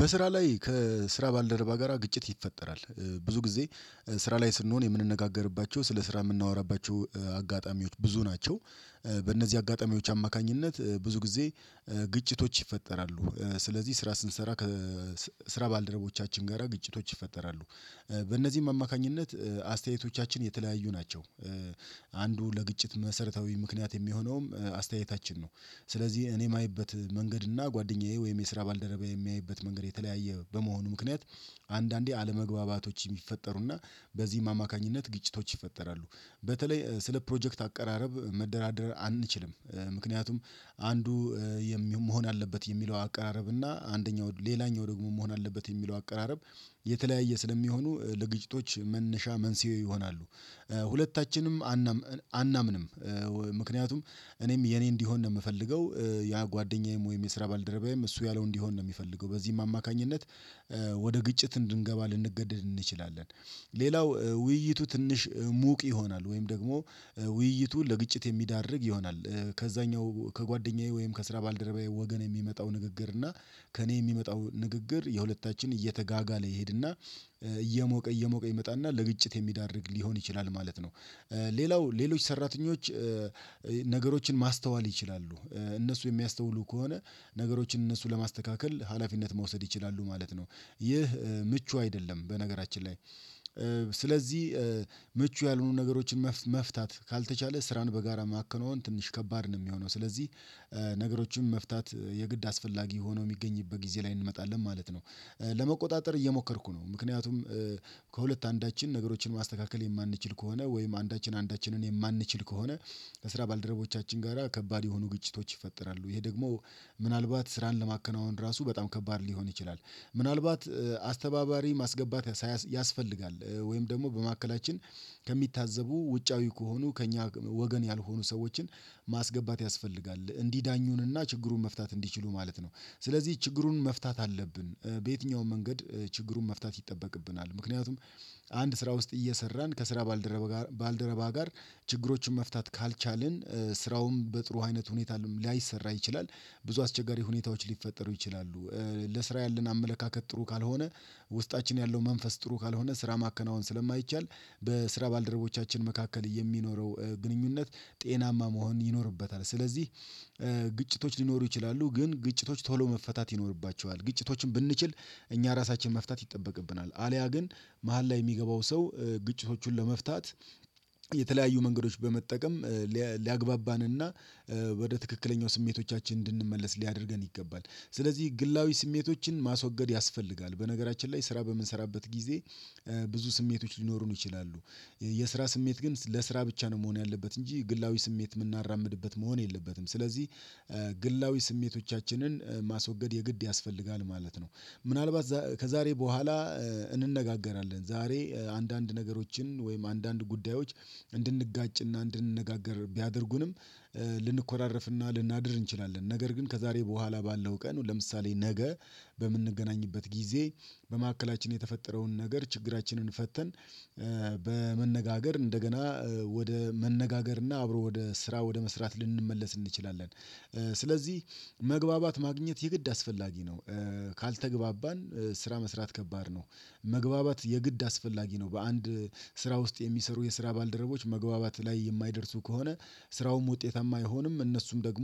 በስራ ላይ ከስራ ባልደረባ ጋራ ግጭት ይፈጠራል ብዙ ጊዜ ስራ ላይ ስንሆን የምንነጋገርባቸው ስለ ስራ የምናወራባቸው አጋጣሚዎች ብዙ ናቸው። በእነዚህ አጋጣሚዎች አማካኝነት ብዙ ጊዜ ግጭቶች ይፈጠራሉ። ስለዚህ ስራ ስንሰራ ስራ ባልደረቦቻችን ጋራ ግጭቶች ይፈጠራሉ። በእነዚህም አማካኝነት አስተያየቶቻችን የተለያዩ ናቸው። አንዱ ለግጭት መሰረታዊ ምክንያት የሚሆነውም አስተያየታችን ነው። ስለዚህ እኔ የማይበት መንገድ እና ጓደኛዬ ወይም የስራ ባልደረባ የሚያይበት መንገድ የተለያየ በመሆኑ ምክንያት። አንዳንዴ አለመግባባቶች የሚፈጠሩና በዚህም አማካኝነት ግጭቶች ይፈጠራሉ። በተለይ ስለ ፕሮጀክት አቀራረብ መደራደር አንችልም። ምክንያቱም አንዱ መሆን አለበት የሚለው አቀራረብ እና አንደኛው ሌላኛው ደግሞ መሆን አለበት የሚለው አቀራረብ የተለያየ ስለሚሆኑ ለግጭቶች መነሻ መንስኤ ይሆናሉ። ሁለታችንም አናምንም ምክንያቱም እኔም የኔ እንዲሆን ነው የምፈልገው። ያ ጓደኛዬም ወይም የስራ ባልደረባዬም እሱ ያለው እንዲሆን ነው የሚፈልገው በዚህም አማካኝነት ወደ ግጭት እንድንገባ ልንገደድ እንችላለን። ሌላው ውይይቱ ትንሽ ሙቅ ይሆናል ወይም ደግሞ ውይይቱ ለግጭት የሚዳርግ ይሆናል። ከዛኛው ከጓደኛዬ ወይም ከስራ ባልደረባዬ ወገን የሚመጣው ንግግር እና ከእኔ የሚመጣው ንግግር የሁለታችን እየተጋጋለ ይሄድና እየሞቀ እየሞቀ ይመጣና ለግጭት የሚዳርግ ሊሆን ይችላል ማለት ነው። ሌላው ሌሎች ሰራተኞች ነገሮችን ማስተዋል ይችላሉ። እነሱ የሚያስተውሉ ከሆነ ነገሮችን እነሱ ለማስተካከል ሀላፊነት መውሰድ ይችላሉ ማለት ነው። ይህ ምቹ አይደለም በነገራችን ላይ። ስለዚህ ምቹ ያልሆኑ ነገሮችን መፍታት ካልተቻለ ስራን በጋራ ማከናወን ትንሽ ከባድ ነው። የሚሆነው ስለዚህ ነገሮችን መፍታት የግድ አስፈላጊ ሆኖ የሚገኝበት ጊዜ ላይ እንመጣለን ማለት ነው። ለመቆጣጠር እየሞከርኩ ነው ምክንያቱም ከሁለት አንዳችን ነገሮችን ማስተካከል የማንችል ከሆነ ወይም አንዳችን አንዳችንን የማንችል ከሆነ ለስራ ባልደረቦቻችን ጋራ ከባድ የሆኑ ግጭቶች ይፈጠራሉ። ይሄ ደግሞ ምናልባት ስራን ለማከናወን ራሱ በጣም ከባድ ሊሆን ይችላል። ምናልባት አስተባባሪ ማስገባት ያስፈልጋል ወይም ደግሞ በመካከላችን ከሚታዘቡ ውጫዊ ከሆኑ ከእኛ ወገን ያልሆኑ ሰዎችን ማስገባት ያስፈልጋል። እንዲዳኙንና ችግሩን መፍታት እንዲችሉ ማለት ነው። ስለዚህ ችግሩን መፍታት አለብን በየትኛውም መንገድ ችግሩን መፍታት ይጠበቅብናል። ምክንያቱም አንድ ስራ ውስጥ እየሰራን ከስራ ባልደረባ ጋር ባልደረባ ጋር ችግሮችን መፍታት ካልቻልን ስራውን በጥሩ አይነት ሁኔታ ላይሰራ ይችላል። ብዙ አስቸጋሪ ሁኔታዎች ሊፈጠሩ ይችላሉ። ለስራ ያለን አመለካከት ጥሩ ካልሆነ ውስጣችን ያለው መንፈስ ጥሩ ካልሆነ ስራ ማከናወን ስለማይቻል በስራ ባልደረቦቻችን መካከል የሚኖረው ግንኙነት ጤናማ መሆን ይኖርበታል። ስለዚህ ግጭቶች ሊኖሩ ይችላሉ ግን ግጭቶች ቶሎ መፈታት ይኖርባቸዋል። ግጭቶችን ብንችል እኛ ራሳችን መፍታት ይጠበቅብናል። አልያ ግን መሃል ላይ የሚገባው ሰው ግጭቶቹን ለመፍታት የተለያዩ መንገዶች በመጠቀም ሊያግባባንና ወደ ትክክለኛው ስሜቶቻችን እንድንመለስ ሊያደርገን ይገባል። ስለዚህ ግላዊ ስሜቶችን ማስወገድ ያስፈልጋል በነገራችን ላይ ስራ በምንሰራበት ጊዜ ብዙ ስሜቶች ሊኖሩን ይችላሉ። የስራ ስሜት ግን ለስራ ብቻ ነው መሆን ያለበት እንጂ ግላዊ ስሜት የምናራምድበት መሆን የለበትም። ስለዚህ ግላዊ ስሜቶቻችንን ማስወገድ የግድ ያስፈልጋል ማለት ነው። ምናልባት ከዛሬ በኋላ እንነጋገራለን ዛሬ አንዳንድ ነገሮችን ወይም አንዳንድ ጉዳዮች እንድንጋጭና እንድንነጋገር ቢያደርጉንም ልንኮራረፍና ልናድር እንችላለን። ነገር ግን ከዛሬ በኋላ ባለው ቀን ለምሳሌ ነገ በምንገናኝበት ጊዜ በመካከላችን የተፈጠረውን ነገር ችግራችንን ፈተን በመነጋገር እንደገና ወደ መነጋገርና አብሮ ወደ ስራ ወደ መስራት ልንመለስ እንችላለን። ስለዚህ መግባባት ማግኘት የግድ አስፈላጊ ነው። ካልተግባባን ስራ መስራት ከባድ ነው። መግባባት የግድ አስፈላጊ ነው በአንድ ስራ ውስጥ የሚሰሩ የስራ ባልደረቦች መግባባት ላይ የማይደርሱ ከሆነ ስራውም ውጤታማ አይሆንም። እነሱም ደግሞ